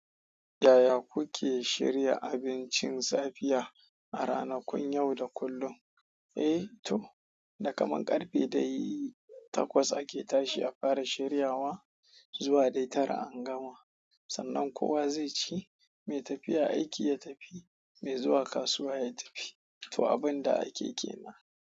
Yaya kuke shirya abincin safiya a ranakun yau da kullum? Eh to, da kaman karfe dai takwas ake tashi a fara shiryawa zuwa dai tara an gama. Sannan kowa zai ci, mai tafiya aiki ya tafi, mai zuwa kasuwa ya tafi. To abin da ake kenan.